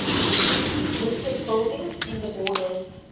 listed buildings in the borders